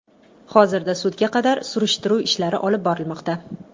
Hozirda sudga qadar surishtiruv ishlari olib borilmoqda.